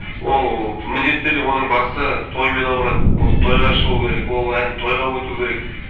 ол міндетті түрде оның басы тоймен ауырады ол тойға шығу керек ол ән тойға өту керек